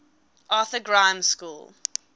arthur grimes school